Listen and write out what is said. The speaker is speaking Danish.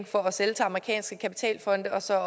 for at sælge til amerikanske kapitalfonde og så